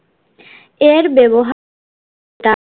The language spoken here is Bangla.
এর ব্যবহার টা